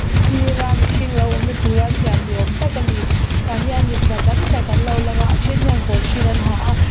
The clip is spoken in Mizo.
sir a mihring lo awmna tur a siam ni awm tak a ni tah hian mipa tam tak an lo lang a a then hian kawr hring an ha a.